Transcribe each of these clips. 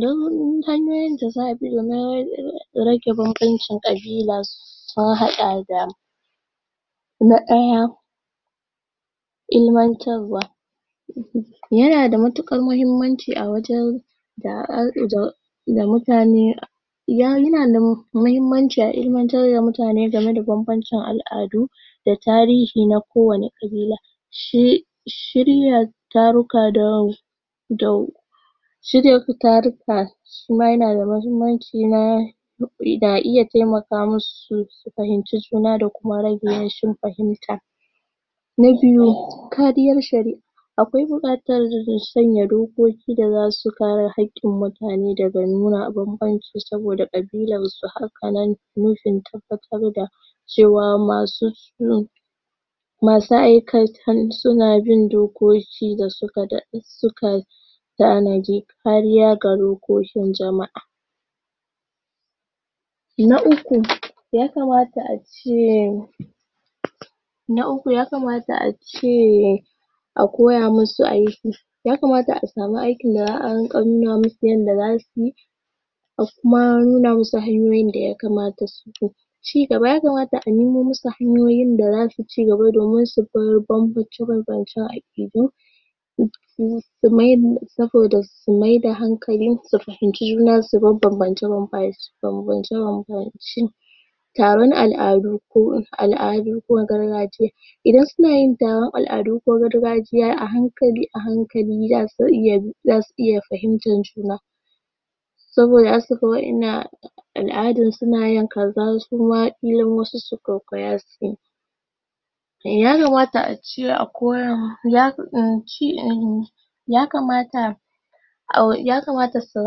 don hanyoyin da za a bi domin rage rage banbanbancin kabilas sun hada da na daya ilimantarwa ya na da matukar mahimmanci a wajen da um mutane ya nuna ya na da mahimmanci a ilimantar da mutane game da banbancin al'adu da tarihi na kowanne kabila shi shirya taruka da wau shirya taruka shima yana da mahimmanci da iya taimaka musu su fahimci juna da kuma rashin fahimata na biyu kariyar sharia akwai bukatan sanya dokoki da zasu kare hakkin mutane daga nuna ban banci saboda kabilarsu hakanan nufin tabbatar da cewa masu masu aikatan suna bin dogoki da suka da suka dade suka tanadi kariya ga lokokin jamaa Na uku ya kamata a ce na uku ya kamata a ceee a koya musu aiki ya kamata a samu aikin da za a nuna mu su yadda za su yi da kuma nuna musu hanyoyin da ya kamata su bi ci gaba ya kamata a nuno musu hanyoyin da zasu ci ci gaba domin su bar banbanci domin hakidu ci gaba domin su bar banbanci domin hakidu su mai da, sabo da su maida hankali su fahimci ju na subar banbance banbance banbance taron aladu ko al'adu ko gargajiya idan su na yin taron al'adu ko gargajiya sai anyi a hankali a hankali zasu iya bi zasu iya fahimtan juna sabo da za su ga wayan nan al'adan su na yin kaza, kila wasu al'adun su kwaikwaya suyi eh ya kamta ace a koya musu um ya kamata ya kamata su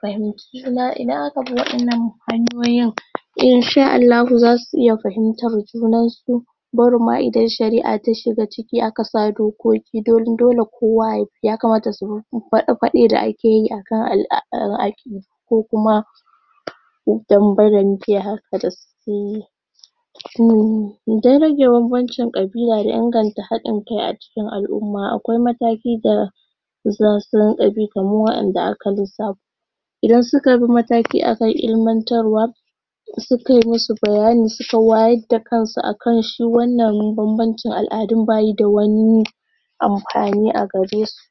fahimci juna idan abi wayan nan hanyoyin Insha Allhahu za su iya fahimtar junan su barin ma idan sharia ta shiga ciki a ka sa dogoki dan dole ma kowa ya, ya kamata, subi fade fade da akeyi akan aladu, a kan akidu ko kuma danbe danbe haka da su dan ra ge banbancin kabila da inganta hadin kai a cikin alumma akwai mataki da za su rinka bi kaman wadanda aka lissafo idan suka bi, mataki akan ilimantarwa suka yi musu bayani, suka wayar da kansu ta kansu akan shi wan nan ban bancin aladun basjhida wani anfani a garesu.